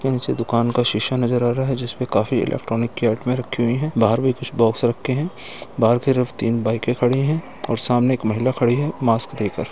इसके नीचे दुकान का शीशा नज़र आ रहा है। जिस पे "काफी इलेक्ट्रॉनिक की आइटमें रखी हुई है बाहर भी कुछ बॉक्स रखे हैं बाहर की रफ तीन बाइकें खड़ी हैं और सामने एक महिला खड़ी है मास्क लेकर।